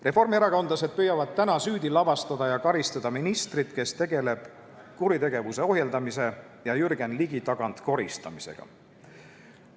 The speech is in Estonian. Reformierakondlased püüavad täna süüdi lavastada ja karistada ministrit, kes tegeleb kuritegevuse ohjeldamise ja Jürgen Ligi tagant koristamisega.